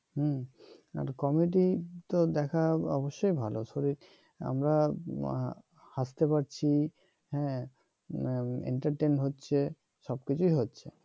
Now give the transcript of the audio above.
হম আর কমেডি তো দেখা অবশ্যই ভাল আমরা হাস তে পারছি হ্যাঁ entertain হচ্ছে সব কিছুই হচ্ছে